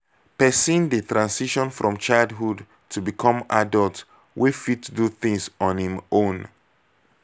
person dey transition from childhood to become adult wey fit do things on im own